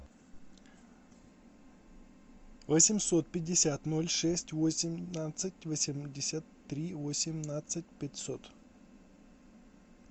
восемьсот пятьдесят ноль шесть восемнадцать восемьдесят три восемнадцать пятьсот